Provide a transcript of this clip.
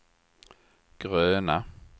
gröna